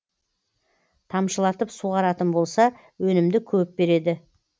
тамшылатып суғаратын болса өнімді көп береді